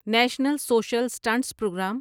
national social assistance programme